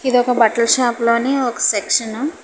ఇది ఒక బట్టల షాప్ లోని ఒక సెక్షను .